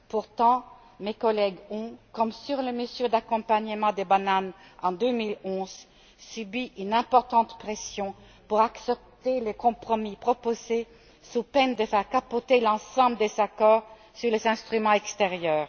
Pourtant mes collègues ont, comme sur les mesures d'accompagnement des bananes en 2011, subi une importante pression pour accepter les compromis proposés sous peine de faire capoter l'ensemble des accords sur les instruments extérieurs.